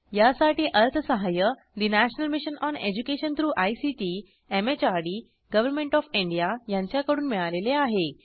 यासाठी अर्थसहाय्य national mission on education through ICT MHRD government of India यांच्याकडून मिळालेले आहे